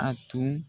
A tun